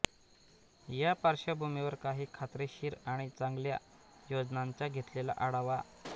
या पार्श्वभूमीवर काही खात्रीशीर आणि चांगल्या योजनांचा घेतलेला आढावा